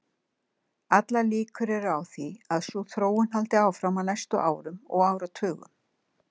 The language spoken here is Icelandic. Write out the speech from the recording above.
Allar líkur eru á því að sú þróun haldi áfram á næstu árum og áratugum.